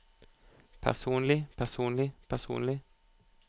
personlig personlig personlig